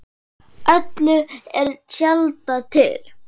Öllu er tjaldað til.